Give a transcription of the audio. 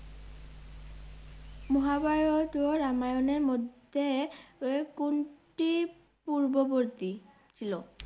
মহাভারত ও রামায়ণের মধ্যে এ- কোনটি পূর্ববতী ছিল?